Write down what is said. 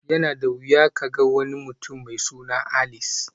Yana da wuya ka ga wani mutum mai suna Alice